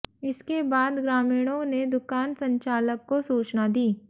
इसके बाद ग्रामीणों ने दुकान संचालक को सूचना दी